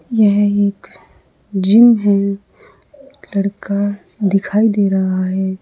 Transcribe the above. यह एक जिम है लड़का दिखाई दे रहा है।